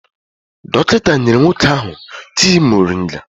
Dọkịta nyere nwoke ahụ tii moringa.